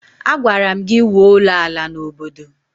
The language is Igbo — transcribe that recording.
Agwara m gi wụọ ụlọ ala na obodo!